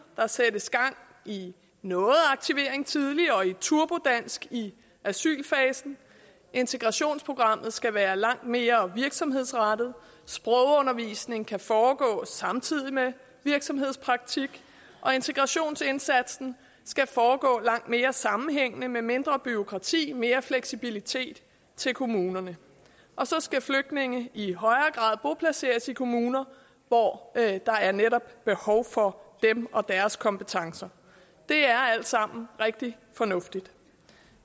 der sættes gang i noget aktivering tidligere og i turbodansk i asylfasen integrationsprogrammet skal være langt mere virksomhedsrettet sprogundervisning kan foregå samtidig med virksomhedspraktik og integrationsindsatsen skal foregå langt mere sammenhængende med mindre bureaukrati og mere fleksibilitet til kommunerne og så skal flygtninge i højere grad boplaceres i kommuner hvor der netop behov for dem og deres kompetencer det er alt sammen rigtig fornuftigt